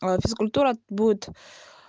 физкультура будет